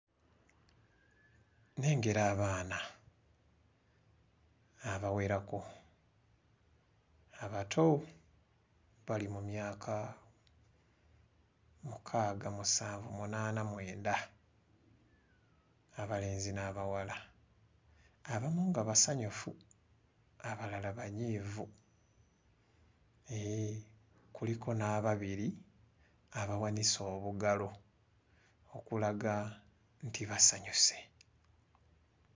Nnengera abaana abawerako abato bali mu myaka mukaaga musanvu munaana mwenda abalenzi n'abawala abamu nga basanyufu abalala nga banyiivu, eh kuliko n'ababiri abawanise obugalo obulaga nti basanyuse.